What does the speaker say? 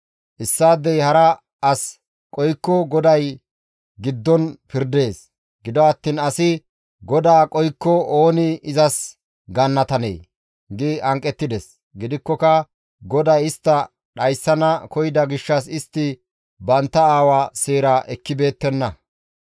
Issaadey hara as qohikko GODAY istta giddon pirdees; gido attiin asi GODAA qohikko ooni izas gaannatanee?» gi hanqettides. Gidikkoka GODAY istta dhayssana koyida gishshas istti bantta aawa seeraa ekkibeettenna.